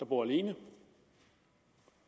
bor alene